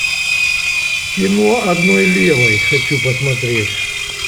кино одной левой хочу посмотреть